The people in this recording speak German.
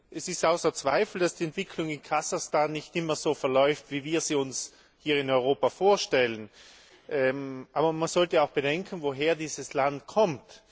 Es steht außer Zweifel, dass die Entwicklung in Kasachstan nicht immer so verläuft, wie wir sie uns hier in Europa vorstellen. Aber man sollte auch bedenken, woher dieses Land kommt.